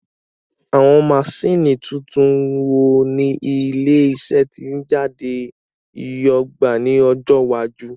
Àwọn maṣíìnì tuntun wo ni ilé iṣẹ́ títẹ̀ jáde yóò gbà ní ọjọ́ iwájú?